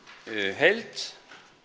heild